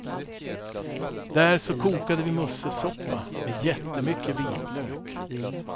Där så kokade vi musselsoppa med jättemycket vitlök.